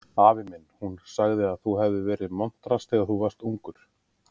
Afi minn, hún amma sagði að þú hefðir verið montrass þegar þú varst ungur